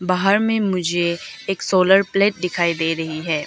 बाहर में मुझे एक सोलर प्लेट दिखाई दे रही है।